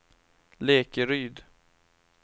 Lekeryd